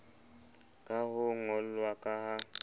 ka ho ngollwa ka ha